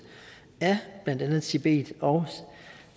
af blandt andet tibet og